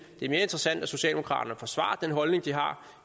det er mere interessant at socialdemokraterne forsvarer den holdning de har